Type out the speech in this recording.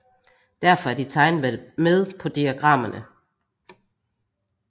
Derfor er de tegnet med på diagrammerne